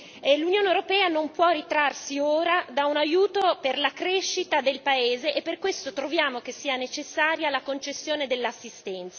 L'Unione europea non può ritrarsi ora da un aiuto per la crescita del paese e per questo troviamo che sia necessaria la concessione dell'assistenza.